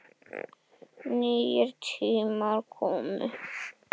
Nýir tímar komu.